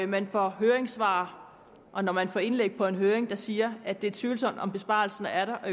man får høringssvar og når man får indlæg fra en høring der siger at det er tvivlsomt om besparelsen er der og